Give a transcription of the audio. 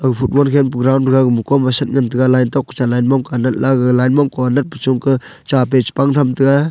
football khenpu round round gama kom aset ngantaga line tok kah cha line mong kah anat la gag line mong kah anat puchung kah chape chipang thamtaga.